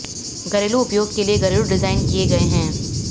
घरेलू उपयोग के लिए घरेलू डिजाइन किए गए हैं